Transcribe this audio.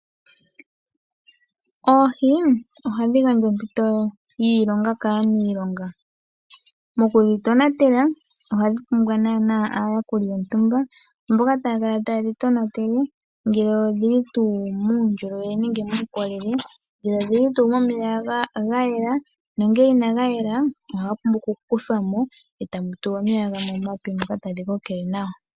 Oohi ohadhi gandja ompito yiilonga kaaniilonga mokudhitonatela. Ohadhi pumbwa nana aayakuli yontumba mboka taya kala tayedhi tonatele ngele odhili muundjolowele nenge muukolele, nomeya gayela nongele inaga yela ohaga pumbwa okukuthwa mo etamu tulwa omeya gamwe omape moka tadhi kokele nawa.